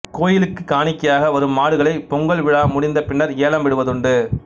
கோயிலுக்கு காணிக்கையாக வரும் மாடுகளை பொங்கல் விழா முடிந்த பின்னர் ஏலம் விடுவதுண்டு